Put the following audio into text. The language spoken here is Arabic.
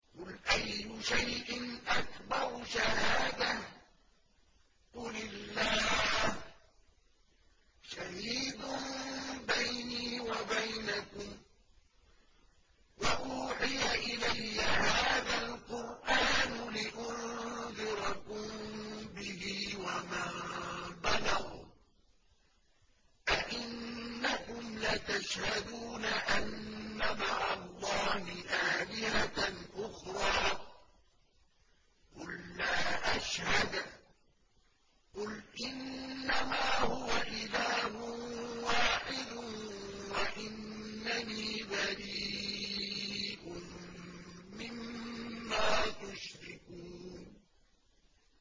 قُلْ أَيُّ شَيْءٍ أَكْبَرُ شَهَادَةً ۖ قُلِ اللَّهُ ۖ شَهِيدٌ بَيْنِي وَبَيْنَكُمْ ۚ وَأُوحِيَ إِلَيَّ هَٰذَا الْقُرْآنُ لِأُنذِرَكُم بِهِ وَمَن بَلَغَ ۚ أَئِنَّكُمْ لَتَشْهَدُونَ أَنَّ مَعَ اللَّهِ آلِهَةً أُخْرَىٰ ۚ قُل لَّا أَشْهَدُ ۚ قُلْ إِنَّمَا هُوَ إِلَٰهٌ وَاحِدٌ وَإِنَّنِي بَرِيءٌ مِّمَّا تُشْرِكُونَ